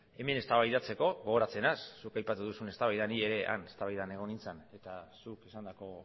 hemen eztabaidatzeko gogoratzen dut zuk aipatu duzun eztabaida ni ere eztabaida hartan egon nintzen eta zuk esandako